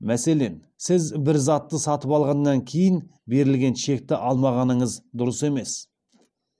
мәселен сіз бір затты сатып алғаннан кейін берілген чекті алмағаныңыз дұрыс емес